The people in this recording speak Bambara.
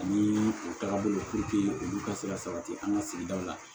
Ani u taga bolo olu ka se ka sabati an ka sigidaw la